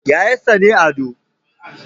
Yayansa ne Ado